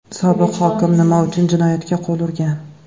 Sobiq hokim nima uchun jinoyatga qo‘l urgan?